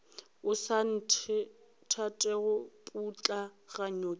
o sa nthatego putlaganya ke